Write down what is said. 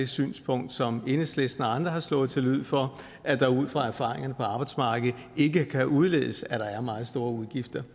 synspunkt som enhedslisten og andre har slået til lyd for at der ud fra erfaringerne på arbejdsmarkedet ikke kan udledes at der er meget store udgifter